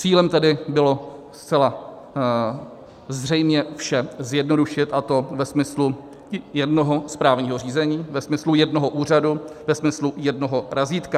Cílem tedy bylo zcela zřejmě vše zjednodušit, a to ve smyslu jednoho správního řízení, ve smyslu jednoho úřadu, ve smyslu jednoho razítka.